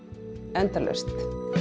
endalaust